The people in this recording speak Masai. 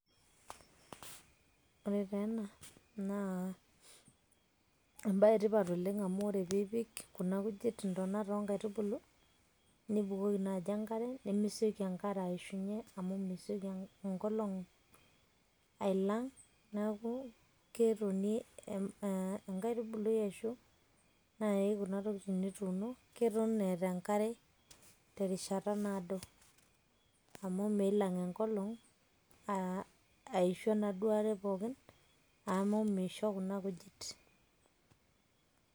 ore taa ena naa ebae etipat oleng amu ore pee ipik kuna kujit, intonat oonkaitubulu, nibukoki naaji enkare, nemesioki enkare aishunye, amu mesioki enkolong' ailang',neeku ketonie enkaitubului ashu naai kuna tokitin nituuno, keton eeta enkare terishata naado. amu meilang' enkolongg' aishu enaduoo are pookin amu meisho kuna kujit.